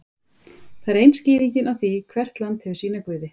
það er ein skýringin á því að hvert land hefur sína guði